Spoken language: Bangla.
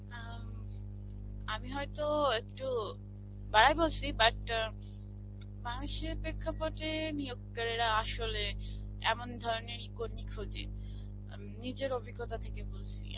উম আমি হয়তোও একটু বাড়ায় বলসি, but মানুষের পেক্ষাপটে নিয়োগকারীরা আসলে এমন ধরনেরই কর্মী খোঁজে. এম নিজের অভিজ্ঞতা থেকে বলসি.